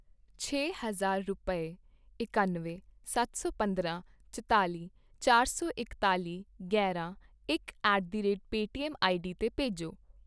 ਛੇ ਹਜ਼ਾਰ ਰੁਪਏ, ਇਕੱਨਵੇਂ, ਸੱਤ ਸੌ ਪੰਦਰਾਂ, ਚੁਤਾਲੀ, ਚਾਰ ਸੌ ਇਤਕਾਲੀ, ਗਿਆਰਾ, ਇਕ at the rate Paytm ID ਤੇ ਭੇਜੋਂ।